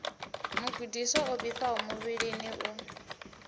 mugudiswa o vhifhaho muvhilini u